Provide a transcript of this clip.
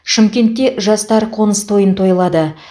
шымкентте жастар қоныс тойын тойлады